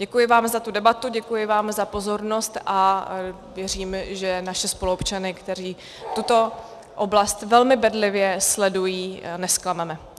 Děkuji vám za tu debatu, děkuji vám za pozornost a věřím, že naše spoluobčany, kteří tuto oblast velmi bedlivě sledují, nezklameme.